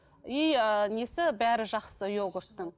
и ыыы несі бәрі жақсы йогурттың